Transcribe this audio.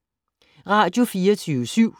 Radio24syv